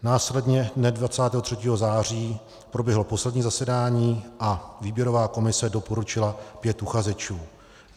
Následně dne 23. září proběhlo poslední zasedání a výběrová komise doporučila 5 uchazečů.